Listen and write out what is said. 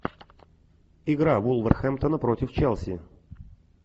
игра вулверхэмптона против челси